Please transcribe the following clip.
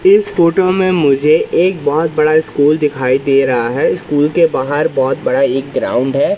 इस फोटो मे मुझे एक बहोत बड़ा स्कूल दिखाई दे रहा है स्कूल के बाहर बहोत बड़ा एक ग्राउंड है।